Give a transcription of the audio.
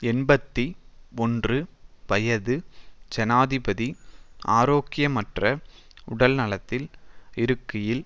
எண்பத்தி ஒன்று வயது ஜனாதிபதி ஆரோக்கியமற்ற உடல்நலத்தில் இருக்கையில்